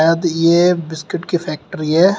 यह बिस्कुट की फैक्ट्री है।